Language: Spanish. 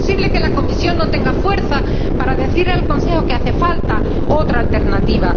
No es posible que la Comisión no tenga fuerza para decir al Consejo que hace falta otra alternativa.